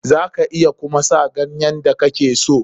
Za ka iya kuma sa ganyen da kake so.